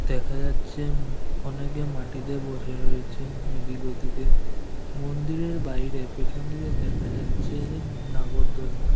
দেখা যাচ্ছে উম অনেকে মাটিতে বসে রয়েছেন এদিক ওদিকে মন্দিরের বাইরে পেছন দিকে দেখা যাচ্ছে যে নাগরদোলনা।